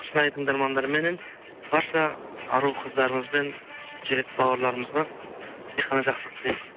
шынайы тыңдармандарменен барша ару қыздарымыз бен жігіт бауырларымызға тек қана жақсылық тілеймін